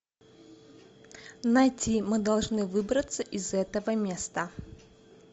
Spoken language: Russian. найти мы должны выбраться из этого места